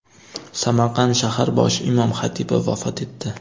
Samarqand shahar bosh imom-xatibi vafot etdi.